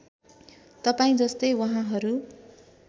तपाईँ जस्तै वहाँहरू